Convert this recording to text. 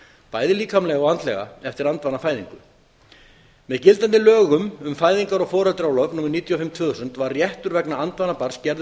bæði líkamlega og andlega eftir andvanafæðingu með gildandi lögum um fæðingar og foreldraorlof númer níutíu og fimm tvö þúsund var réttur vegna andvana barns gerður